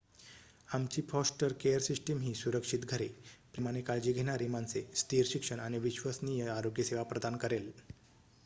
आमची foster care system ही सुरक्षित घरे प्रेमाने काळजी घेणारी माणसे स्थिर शिक्षण आणि विश्वसनीय आरोग्य सेवा प्रदान करेल